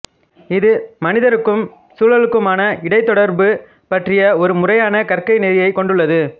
இது மனிதருக்கும் சூழலுக்குமான இடைத்தொடர்பு பற்றி ஒரு முறையான கற்கைநெறியக் கொண்டுள்ளது